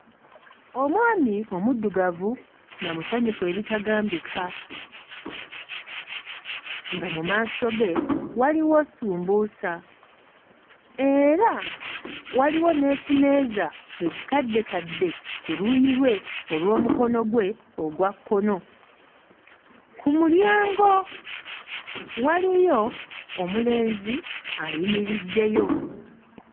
Omwami omuddugavu nga musanyufu ebitagambika nga mu maaso ge waliwo ssumbuusa era waliwo n'ekimeeza ekikaddekadde ku luuyi lwe olw'omukono gwe ogwa kkono. Ku mulyango waliyo omulenzi ayimiriddeyo.